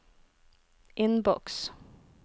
innboks